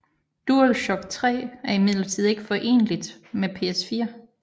DualShock 3 er imidlertid ikke foreneligt med PS4